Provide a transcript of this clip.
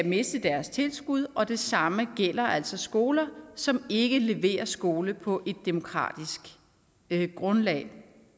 miste deres tilskud og det samme gælder altså skoler som ikke leverer skole på et demokratisk grundlag